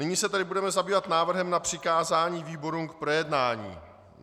Nyní se tedy budeme zabývat návrhem na přikázání výborům k projednání.